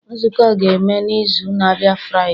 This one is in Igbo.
Nzukọ a ga-eme n'izu na-abịa Friday.